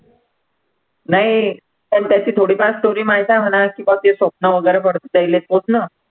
नाही पण त्याची थोडीफार story माहित आहे मला की कशी स्वप्न वैगरे पडतात त्याहिले पूर्ण